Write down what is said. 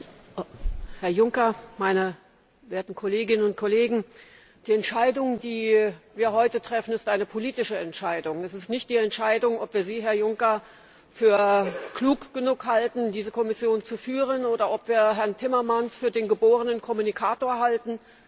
Herr Präsident, Herr Juncker, meine werten Kolleginnen und Kollegen! Die Entscheidung, die wir heute treffen, ist eine politische Entscheidung. Es ist nicht die Entscheidung, ob wir Sie, Herr Juncker, für klug genug halten, diese Kommission zu führen, oder ob wir Herrn Timmermans für den geborenen Kommunikator halten.